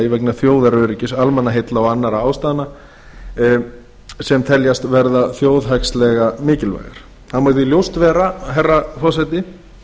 vegna þjóðaröryggis almannaheilla og annarra ástæðna sem teljast verða þjóðhagslega mikilvægar það má því ljóst vera herra forseti